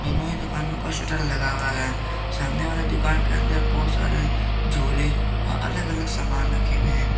दोनों ही दुकानों का शटर लगा हुआ है सामने वाला दुकान के अंदर बहुत सारे झूले अलग अलग सामान रखें हुए हैं।